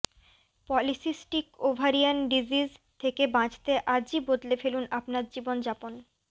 polycystic ovarian disease থেকে বাঁচতে আজই বদলে ফেলুন আপনার জীবনযাপন